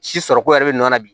Si sɔrɔ ko yɛrɛ bɛ nɔnɔ la bi